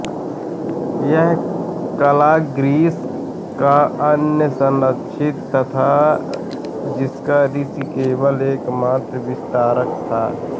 यह कला ग्रीस का अनन्य संरक्षित था जिसका ऋषि केवल एकमात्र विस्तारक था